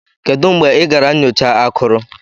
Kedu mgbe ị gara nyocha akụrụ?